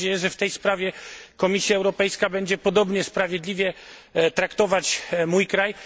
Mam nadzieję, że w tej sprawie Komisja Europejska będzie podobnie sprawiedliwie traktować mój kraj.